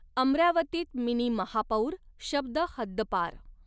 अमरावतीत मिनी महापौर' शब्द हद्दपार